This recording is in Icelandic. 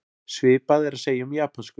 Svipað er að segja um japönsku.